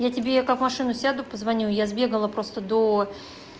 я тебе как в машину сяду позвоню я сбегала просто до